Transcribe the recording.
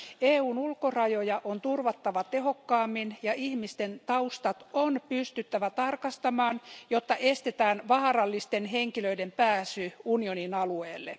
EUn ulkorajoja on turvattava tehokkaammin ja ihmisten taustat on pystyttävä tarkastamaan, jotta estetään vaarallisten henkilöiden pääsy unionin alueelle.